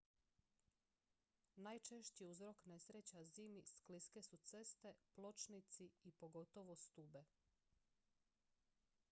najčešći uzrok nesreća zimi skliske su ceste pločnici i pogotovo stube